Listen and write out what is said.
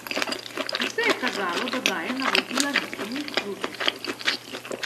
Vse je kazalo, da daje navodila nekemu uslužbencu.